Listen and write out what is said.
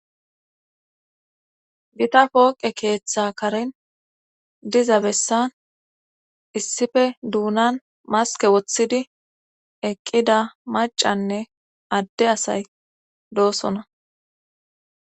gita pooqe keeththa karen diza bessan issife duunan maske woththidi eqqida macanne adde asay doosona